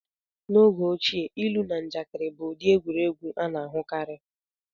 N'oge ochie, ilu na njakịrị bụ ụdị egwuregwu a na-ahụkarị.